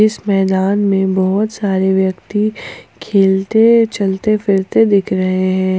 इस मैदान में बहोत सारे व्यक्ति खेलते चलते फिरते दिख रहे है।